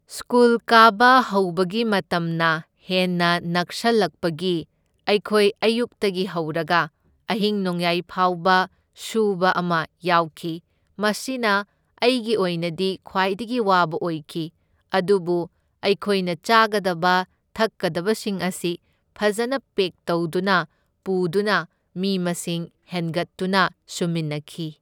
School ꯀꯥꯕ ꯍꯧꯕꯒꯤ ꯃꯇꯝꯅ ꯍꯦꯟꯅ ꯅꯛꯁꯜꯂꯛꯄꯒꯤ ꯑꯩꯈꯣꯏ ꯑꯌꯨꯛꯇꯒꯤ ꯍꯧꯔꯒ ꯑꯍꯤꯡ ꯅꯣꯡꯌꯥꯏ ꯐꯥꯎꯕ ꯁꯨꯕ ꯑꯃ ꯌꯥꯎꯈꯤ, ꯃꯁꯤꯅ ꯑꯩꯒꯤ ꯑꯣꯏꯅꯗꯤ ꯈ꯭ꯋꯥꯏꯗꯒꯤ ꯋꯥꯕ ꯑꯣꯏꯈꯤ, ꯑꯗꯨꯕꯨ ꯑꯩꯈꯣꯏꯅ ꯆꯥꯒꯗꯕ ꯊꯛꯀꯗꯕꯁꯤꯡ ꯑꯁꯤ ꯐꯖꯅ ꯄꯦꯛ ꯇꯧꯗꯨꯅ ꯄꯨꯗꯨꯅ ꯃꯤ ꯃꯁꯤꯡ ꯍꯦꯟꯒꯠꯇꯨꯅ ꯁꯨꯃꯤꯟꯅꯈꯤ꯫